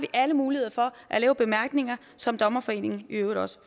alle muligheder for at lave bemærkninger som dommerforeningen i øvrigt også